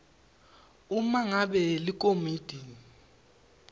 uma ngabe likomiti